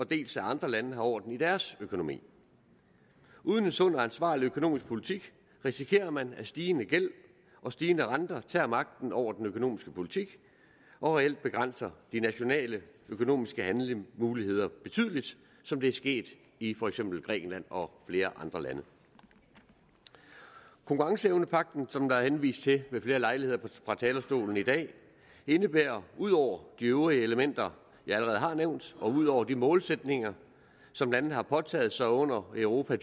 dels at andre lande har orden i deres økonomi uden en sund og ansvarlig økonomisk politik risikerer man at stigende gæld og stigende renter tager magten over den økonomiske politik og reelt begrænser de nationale økonomiske handlemuligheder betydeligt som det er sket i for eksempel grækenland og flere andre lande konkurrenceevnepagten som der er henvist til ved flere lejligheder fra talerstolen i dag indebærer ud over de øvrige elementer jeg allerede har nævnt og ud over de målsætninger som landene har påtaget sig under europa